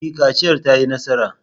E, kaciyar ta yi nasara.